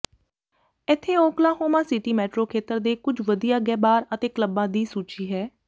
ਇੱਥੇ Oklahoma City metro ਖੇਤਰ ਦੇ ਕੁਝ ਵਧੀਆ ਗੇ ਬਾਰ ਅਤੇ ਕਲੱਬਾਂ ਦੀ ਸੂਚੀ ਹੈ